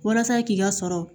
Walasa k'i ka sɔrɔ